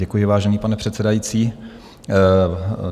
Děkuji, vážený pane předsedající.